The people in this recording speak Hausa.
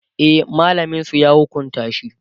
e mallamin su ya hukunta shi